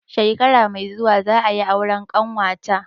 Shekara mai zuwa za a yi auren ƙanwa ta.